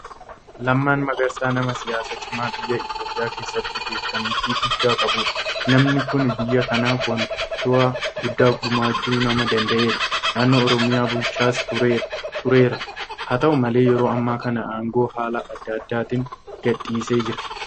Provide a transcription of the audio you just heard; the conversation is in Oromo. Lammaan Magarsaa nama siyaasaa cimaa biyya Itoophiyaa keessatti beekamtii guddaa qabudha. Namni kun biyya kanaaf waanta guddaa gumaachuu nama danda'edha. Naannoo Oromiyaa bulchaas tureera. Haata'u malee yeroo ammaa kana aangoo haala adda addaatiin gadhiisee jira.